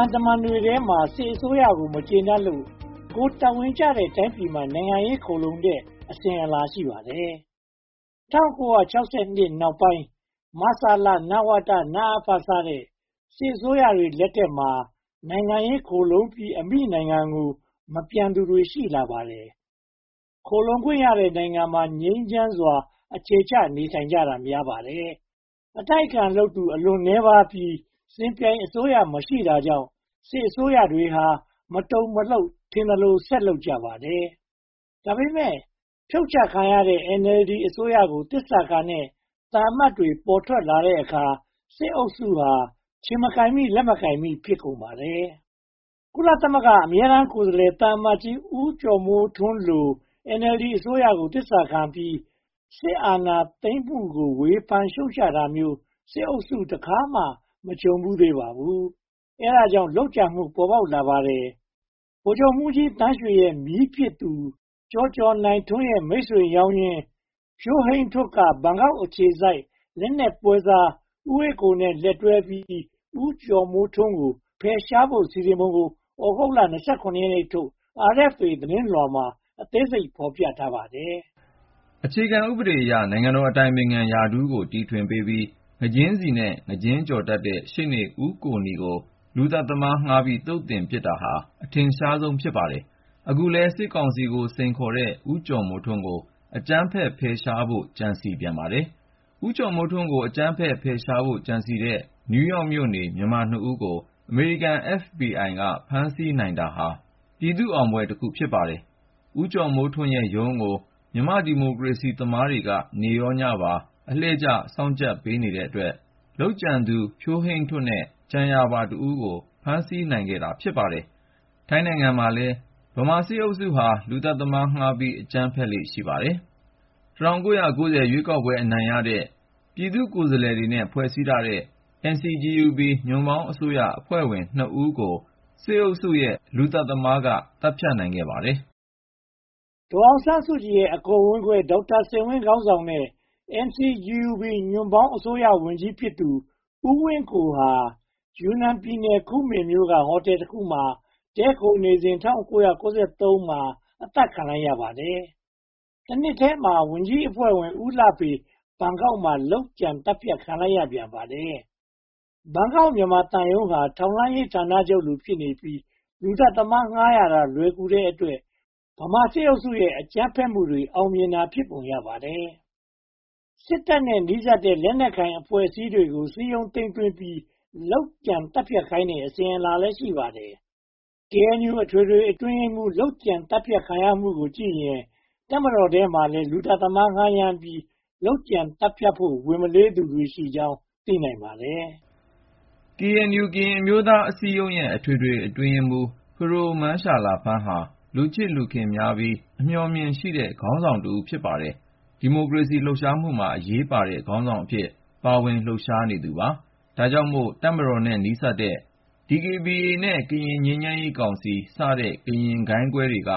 န်တွေထဲမှာ စစ်အစိုးရကို မကျေနပ်လို့ ကိုယ်တာဝန်ကျတဲ့ တိုင်းပြည်မှာ နိုင်ငံရေးခိုလှုံကြတဲ့ အစဉ်အလာ ရှိပါတယ်။ ၁၉၆၂ နောက်ပိုင်း မဆလ၊ နဝတ၊ နအဖ စတဲ့ စစ်အစိုးရတွေလက်ထက်မှာ နိုင်ငံရေးခိုလှုံပြီး အမိနိုင်ငံကို မပြန်သူတွေ ရှိလာပါတယ်။ ခိုလှုံခွင့်ရတဲ့နိုင်ငံမှာ ငြိမ်းချမ်းစွာ အခြေချနေထိုင်ကြတာ များပါတယ်။ အတိုက်အခံလုပ်သူ အလွန်နည်းပါးပြီး စစ်ပြိုင်အစိုးရ မရှိတာကြောင့် စစ်အစိုးရတွေဟာ မတုန်မလှုပ် ထင်သလို ဆက်လုပ်ကြပါတယ်။ ဒါပေမဲ့ ဒီတကြိမ် ဖြုတ်ချခံရတဲ့ NLD အစိုးရကို သစ္စာခံကြတဲ့ သံအမတ်တွေ ပေါ်ထွက်လာတဲ့အခါ စစ်အုပ်စုဟာ ခြေမကိုင်မိ လက်မကိုင်မိ ဖြစ်ကုန်ပါတယ်။ ကုလသမဂ္ဂ အမြဲတမ်းကိုယ်စားလှယ် သံအမတ်ကြီး ဦးကျော်မိုးထွန်းလို NLD အစိုးရကို သစ္စာခံပြီး စစ်အာဏာသိမ်းမှုကို ဝေဖန်ရှုတ်ချတာမျိုး စစ်အုပ်စု တခါမှမကြုံဖူးသေးပါဘူး။ အဲဒါကြောင့် လုပ်ကြံမှုမျိုး ပေါ်ပေါက်လာပါတယ်။ ဗိုလ်ချုပ်မှူးကြီးသန်းရွှေရဲ့မြေးဖြစ်သူ ကျော်ကျော်နိုင်ထွန်းရဲ့ မိတ်ဆွေရောင်ရင်း ဖြိုးဟိန်းထွဋ်က ဘန်ကောက်အခြေစိုက် လက်နက်ပွဲစား ဦးအေးကိုနဲ့ လက်တွဲပြီး ဦးကျော်မိုးထွန်းကို ဖယ်ရှားဖို့ စီစဉ်ပုံကို သြဂုတ်လ (၂၇) ရက်နေ့ထုတ် RFA သတင်းလွှာမှာ အသေးစိတ်ဖော်ပြထားပါတယ်။ အခြေခံဥပဒေအရ နိုင်ငံတော်အတိုင်ပင်ခံရာထူးကို တီထွင်ပေးပြီး ငါးကြင်းဆီနဲ့ ငါးကြင်းကျော်တတ်တဲ့ ရှေ့နေဦးကိုနီကို လူသတတ်သမားငှားပြီး သုတ်သင်ပစ်တာဟာ အထင်ရှားဆုံး ဖြစ်ပါတယ်။ အခုလည်း စစ်ကောင်စီကို စိန်ခေါ်နေတဲ့ ဦးကျော်မိုးထွန်းကို အကြမ်းဖက်ဖယ်ရှားဖို့ ကြံစည်ပြန်ပါတယ်။ ဦးကျော်မိုးထွန်းကို အကြမ်းဖက်ဖယ်ရှားဖို့ ကြံစည်တဲ့ နယူးရောက်မြို့နေ မြန်မာနှစ်ဦးကို အမေရိကန် FBI က ဖမ်းဆီးနိုင်တာဟာ ပြည်သူ့အောင်ပွဲတခု ဖြစ်ပါတယ်။ ဦးကျော်မိုးထွန်းရဲ့ရုံးကို မြန်မာ့ဒီမိုကရေစီသမားတွေက နေ့ရောညပါ အလှည့်ကျစောင့်ကြပ်ပေးနေတဲ့အတွက် လုပ်ကြံသူ ဖြိုးဟိန်းထွဋ်နဲ့ ကြံရာပါတဦးကို ဖမ်းဆီးနိုင်ခဲ့တာ ဖြစ်ပါတယ်။ ထိုင်းနိုင်ငံမှာလည်း ဗမာစစ်အုပ်စုက လူသတ်သမားငှားပြီး အကြမ်းဖက်လေ့ ရှိပါတယ်။ ၁၉၉၀ ရွေးကောက်ပွဲအနိုင်ရတဲ့ ပြည်သူ့ကိုယ်စားလှယ်တွေ ဖွဲ့စည်းထားတဲ့ NCGUB ညွှန့်ပေါင်းအစိုးရအဖွဲ့ဝင်နှစ်ဦးကို စစ်အုပ်စုရဲ့ လူသတ်သမားက သတ်ဖြတ်နိုင်ခဲ့ပါတယ်။ ဒေါ်အောင်ဆန်းစုကြည်ရဲ့ အကိုဝမ်းကို ဒေါက်တာစိန်ဝင်းခေါင်းဆောင်တဲ့ NCGUB ညွန့်ပေါင်းအစိုးရဝန်ကြီးဖြစ်သူ ဦးဝင်းကိုဟာ ယူနန်ပြည်နယ် ကူမင်မြို့က ဟိုတယ်တခုမှာ တည်ခိုးနေစဉ် ၁၉၉၃ မှာ အသတ်ခံလိုက်ရပါတယ်။ တနှစ်ထဲမှာပဲ ဝန်ကြီးအဖွဲ့ဝင် ဦးလှဖေလည်း ဘန်ကောက်မြို့မှာ လုပ်ကြံသတ်ဖြတ်ခံလိုက်ရပါတယ်။ ဘန်ကောက်မြို့မြန်မာသံရုံးဟာ ထောက်လှမ်းရေးဌာနချုပ်လို ဖြစ်နေပြီး၊ လူသတ်သမားငှားရတာ လွယ်ကူတဲ့အတွက် ဗမာစစ်အုပ်စုရဲ့ အကြမ်းဖက်မှုတွေ အောင်မြင်တာ ဖြစ်ပုံရပါတယ်။ စစ်တပ်နဲ့ နီးစပ်တဲ့ လက်နက်ကိုင်အဖွဲ့တွေကို စည်းရုံးသိမ်းသွင်းပြီး လုပ်ကြံသတ်ဖြတ်ခိုင်းတဲ့ အစဉ်အလာလည်း ရှိပါတယ်။ KNU အထွေထွေအတွင်းရေးမှူး လုပ်ကြံသတ်ဖြတ်ခံရမှုကိုကြည့်ရင် တပ်မတော်ထဲမှာလည်း လူသတ်သမား ငှားရမ်းပြီး လုပ်ကြံသတ်ဖြတ်ဖို့ ဝန်မလေးသူတွေရှိကြောင်း သိနိုင်ပါတယ်။ KNU ကရင်အမျိုးသားအစည်းအရုံးရဲ့ အထွေထွေအတွင်းရေးမှူး 'ဖဒိုမန်းရှာလာဖန်း' ဟာ လူချစ်လူခင်များပြီး အမြော်အမြင်ရှိတဲ့ ခေါင်းဆောင်တဦး ဖြစ်ပါတယ်။ ဒီမိုကရေစီလှုပ်ရှားမှုမှာ အရေးပါတဲ့ခေါင်းဆောင်အဖြစ် ပါဝင်လှုပ်ရှားနေခဲ့သူပါ။ ဒါကြောင့်မို့ တပ်မတော်နဲ့ နီးစပ်တဲ့ DKBA နဲ့ ကရင်ငြိမ်းချမ်းရေးကောင်စီစတဲ့ ကရင်ဂိုဏ်းကွဲတွေက